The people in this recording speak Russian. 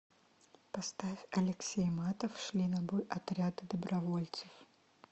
поставь алексей матов шли на бой отряды добровольцев